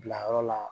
Bilayɔrɔ la